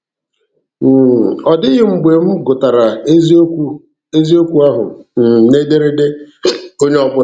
um Ọ dịghị mgbe m gụtara eziokwu eziokwu ahụ um n'ederede onye ọbụla.